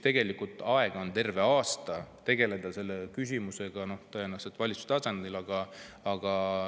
Tegelikult on terve aasta aega tegeleda selle küsimusega tõenäoliselt valitsuse tasandil.